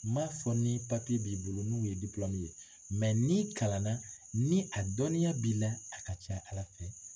M'a fɔ ni b'i bolo n'u ye ye n'i kalanna ni a dɔnniya b'i la a ka ca Ala fɛ